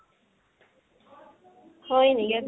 হয়্নি?